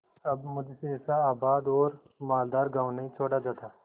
अब मुझसे ऐसा आबाद और मालदार गॉँव नहीं छोड़ा जाता